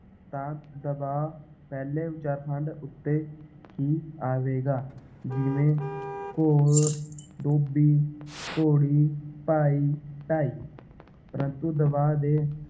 ਤਾਂ ਦਬਾਅ ਪਹਿਲੇ ਉਚਾਰਖੰਡ ਉੱਤੇ ਹੀ ਆਵੇਗਾ ਜਿਵੇਂ ਘੋਰ, ਡੋਬੀ, ਘੋੜੀ, ਭਾਈ, ਢਾਈ ਪਰੰਤੂ ਦਬਾਅ ਦੇ